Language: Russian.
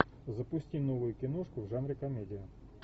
запусти новую киношку в жанре комедия